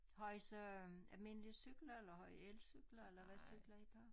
Har i så øh almindelige cykler eller har i elcykler eller hvad cykler i på